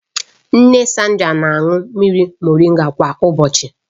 Nne Sandra na-aṅụ mmiri moringa kwa ụbọchị